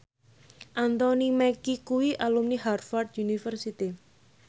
Anthony Mackie kuwi alumni Harvard university